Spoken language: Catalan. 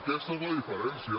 aquesta és la diferència